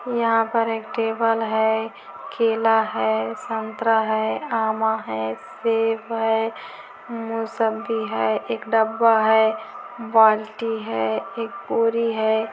यहाँ पर एक टेबल है केला है संतरा है आमा है सेब हैमोसम्बी है एक डब्बा है बाल्टी है एक पुरी है।